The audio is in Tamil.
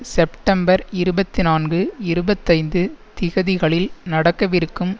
செப்டம்பர் இருபத்தி நான்கு இருபத்தைந்து திகதிகளில் நடக்கவிருக்கும்